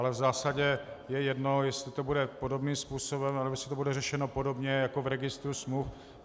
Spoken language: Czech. Ale v zásadě je jedno, jestli to bude podobným způsobem, nebo jestli to bude řešeno podobně jako v registru smluv.